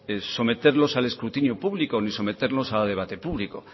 es someterlos al escrutinio público ni someternos a debate público